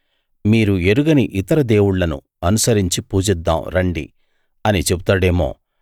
మీరు ఎరుగని ఇతర దేవుళ్ళను అనుసరించి పూజిద్దాం రండి అని చెబుతాడేమో